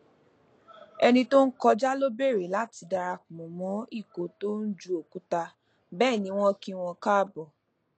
ẹni tó n kọjá lọ bèrè láti darapọ mọ ikọ tón ju òkúta bẹẹ ni wọn kí wọn káàbọ